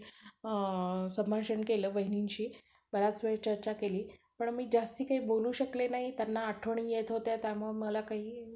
अ संभाषण केलं वहिनींशी बराच वेळ चर्चा केली पण मी जास्ती काही बोलू शकले नाही त्यांना आठवणी येत होत्या त्यामुळं मला काही